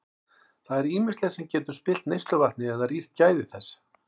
Það er ýmislegt sem getur spillt neysluvatni eða rýrt gæði þess.